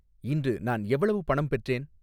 இன்று நான் எவ்வளவு பணம் பெற்றேன்